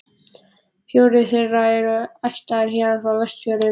Fjórir þeirra eru ættaðir héðan frá Vestfjörðum.